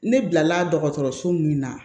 Ne bilala dɔgɔtɔrɔso min na